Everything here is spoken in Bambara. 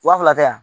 Wa fila tɛ yan